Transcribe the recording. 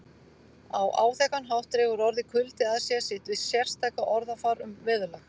Á áþekkan hátt dregur orðið kuldi að sér sitt sérstaka orðafar um veðurlag